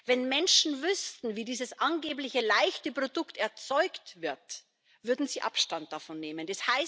Wenn Menschen wüssten, wie dieses angeblich leichte Produkte erzeugt wird, würden sie Abstand davon nehmen.